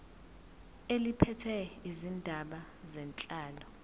eliphethe izindaba zenhlalo